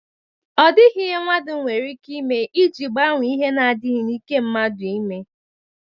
O dighi ihe mmadu nwere ike ime iji gbanwee ihe na- adighi n' ike mmadu ime.